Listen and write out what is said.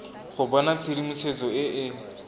go bona tshedimosetso e e